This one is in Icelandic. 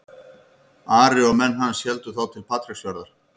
Ari og menn hans héldu þá til Patreksfjarðar.